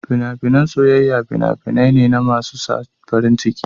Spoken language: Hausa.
Fina-finan soyayya fina-finai ne masu sa farin ciki.